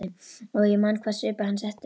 Og ég man hvaða svip hann setti upp.